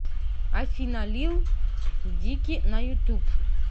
афина лил дики на ютуб